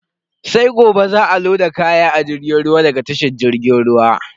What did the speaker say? Sai gobe za a loda kaya a jirgin ruwa daga tashar jirgin ruwa.